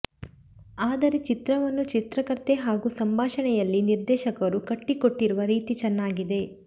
ಆದರೆ ಚಿತ್ರವನ್ನು ಚಿತ್ರಕಥೆ ಹಾಗೂ ಸಂಭಾಷಣೆಯಲ್ಲಿ ನಿರ್ದೇಶಕರು ಕಟ್ಟಿಕೊಟ್ಟಿರುವ ರೀತಿ ಚೆನ್ನಾಗಿದೆ